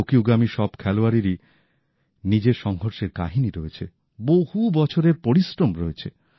টোকিওগামী সব খেলোয়াড়েরই নিজের সংগ্রামের কাহিনী রয়েছে বহু বছরের পরিশ্রম রয়েছে